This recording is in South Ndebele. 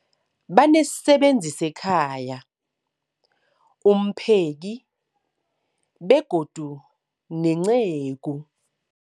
Banesisebenzi sekhaya, umpheki, begodu nenceku.